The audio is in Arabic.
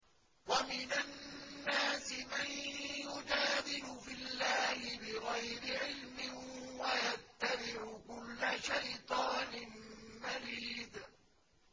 وَمِنَ النَّاسِ مَن يُجَادِلُ فِي اللَّهِ بِغَيْرِ عِلْمٍ وَيَتَّبِعُ كُلَّ شَيْطَانٍ مَّرِيدٍ